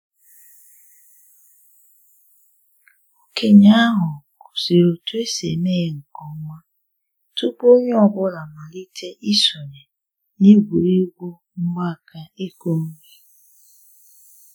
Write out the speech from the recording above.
Okenye ahu gosiri otu esi eme ya nke ọma tupu onye ọ bụla amalite isonye na egwuregwu mgbaaka ịkụ nri